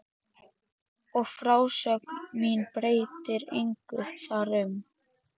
Og frásögn mín breytir engu þar um.